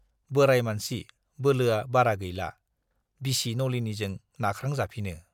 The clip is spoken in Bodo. बोराइ मानसि - बोलोआ बारा गैला, बिसि नलिनीजों नाख्रांजाफिनो।